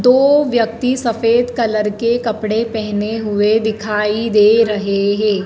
दो व्यक्ति सफेद कलर के कपड़े पहने हुए दिखाई दे रहे हैं।